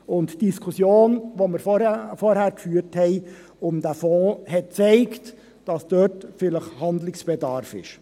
Die Diskussion, die wir vorhin um diesen Fonds geführt haben, hat gezeigt, dass dort vielleicht Handlungsbedarf besteht.